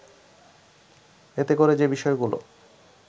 এতে করে যে বিষয়গুলো